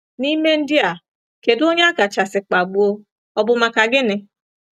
N’ime ndị a, kedụ onye akachasị kpagbuo, ọ bụ maka gịnị?